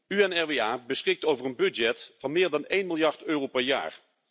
UNRWA beschikt over een budget van meer dan 1 miljard euro per jaar.